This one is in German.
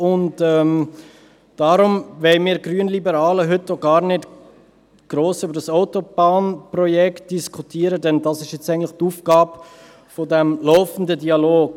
Deshalb wollen wir Grünliberalen heute auch gar nicht gross über das Autobahnprojekt diskutieren, denn das ist nun eigentlich die Aufgabe des laufenden Dialogs.